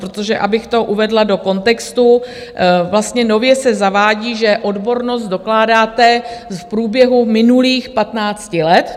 Protože, abych to uvedla do kontextu, vlastně nově se zavádí, že odbornost dokládáte v průběhu minulých 15 let.